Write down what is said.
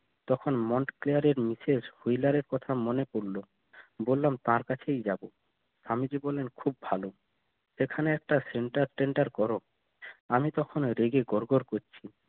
তখন কথা মনে পরলো বললাম তার কাছেই যাবো আমি যে বললেন খুব ভালো এখানে একটা center টেন্ডার কর আমি তখন রেগে গর গর করছি